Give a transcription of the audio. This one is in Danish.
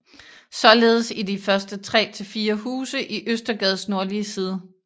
Således i de første 3 til 4 huse i Østergades nordlige side